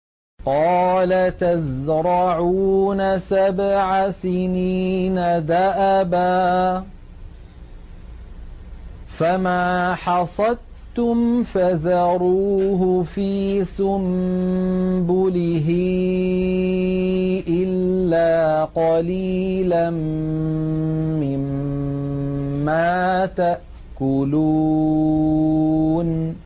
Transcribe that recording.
قَالَ تَزْرَعُونَ سَبْعَ سِنِينَ دَأَبًا فَمَا حَصَدتُّمْ فَذَرُوهُ فِي سُنبُلِهِ إِلَّا قَلِيلًا مِّمَّا تَأْكُلُونَ